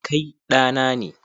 Kai ɗa na ne.